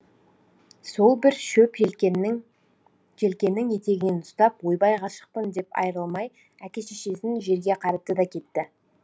сол бір шөп желкенің етегінен ұстап ойбай ғашықпын деп айырылмай әке шешесін жерге қаратты да кетті